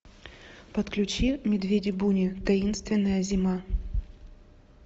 подключи медведи буни таинственная зима